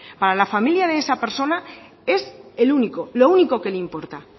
para la familia de esa persona es el único lo único que le importa